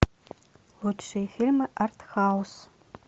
лучшие фильмы артхаус